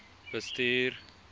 bestuur